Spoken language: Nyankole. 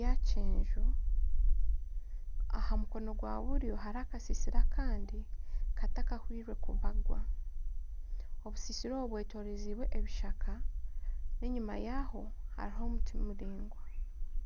ya kyenju Aha mukono gwa buryo hariho akasisira akandi katakahwire kubagwa. Obusisira obwo, bwetorizibwe ebishaka n'enyima yaho hariho omuti muringwa.